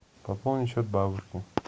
пополнить счет бабушке